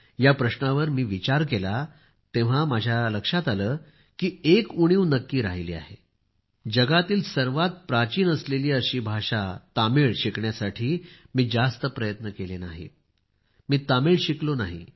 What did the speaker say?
या प्रश्नावर मी विचार केला तेव्हा माझ्या लक्षात आले की एक उणीव नक्की राहिली आहे जगातील सर्वात जुनी भाषा तामिळ शिकण्यासाठी मी जास्त प्रयत्न केले नाहीत मी तामिळ शिकलो नाही